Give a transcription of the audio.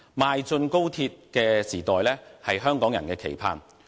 邁進高鐵時代是香港人的期盼。